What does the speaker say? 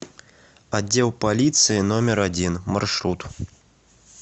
отдел полиции номер один маршрут